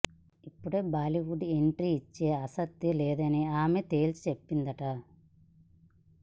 ఇప్పుడు Bollywood entry ఇచ్చే ఆసక్తి లేదని ఈమె తేల్చి చెప్పిందట